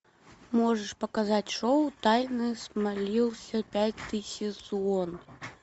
можешь показать шоу тайны смолвиля пятый сезон